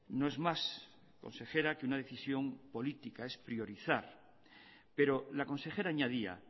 no es más consejera que una decisión política es priorizar pero la consejera añadía